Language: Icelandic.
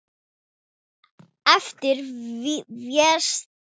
eftir Véstein Ólason.